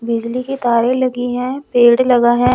बिजली की तारे लगी हैं पेड़ लगा है।